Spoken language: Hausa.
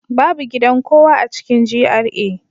Babu gidan kowa a cikin GRA